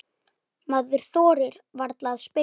Maður þorir varla að spyrja.